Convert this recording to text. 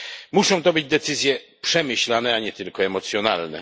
Muszą to być decyzje przemyślane, a nie tylko emocjonalne.